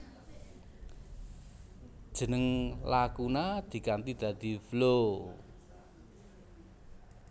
Jeneng Lakuna diganti dadi Flow